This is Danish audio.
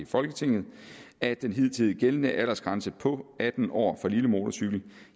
folketinget at den hidtidigt gældende aldersgrænse på atten år for lille motorcykel